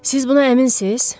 Siz buna əminsiz?